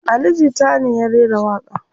Ali jita ne ya rera waƙa n